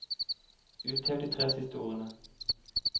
Uthev de tre siste ordene